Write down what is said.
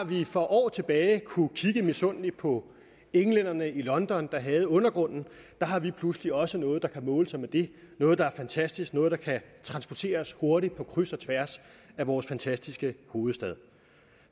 vi for år tilbage kunne kigge misundeligt på englænderne i london der havde undergrunden har vi pludselig også noget der kan måle sig med det noget der er fantastisk noget der kan transportere os hurtigt på kryds og tværs af vores fantastiske hovedstad